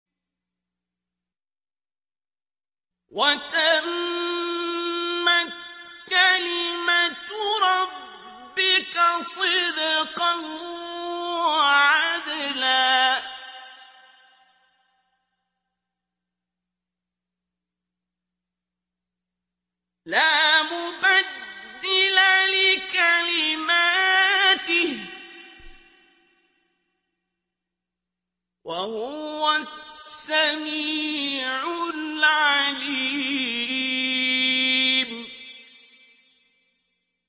وَتَمَّتْ كَلِمَتُ رَبِّكَ صِدْقًا وَعَدْلًا ۚ لَّا مُبَدِّلَ لِكَلِمَاتِهِ ۚ وَهُوَ السَّمِيعُ الْعَلِيمُ